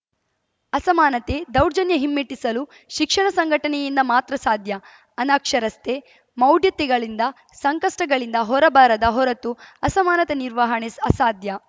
ಅಸಮಾನತೆ ದೌರ್ಜನ್ಯ ಹಿಮ್ಮೆಟ್ಟಿಸಲು ಶಿಕ್ಷಣ ಸಂಘಟನೆಯಿಂದ ಮಾತ್ರ ಸಾಧ್ಯ ಅನಕ್ಷರಸ್ತೆ ಮೌಢ್ಯತೆಗಳಿಂದ ಸಂಕಷ್ಟಗಳಿಂದ ಹೊರ ಬರದ ಹೊರತು ಅಸಮಾನತೆ ನಿರ್ವಾಹಣೆ ಅಸಾಧ್ಯ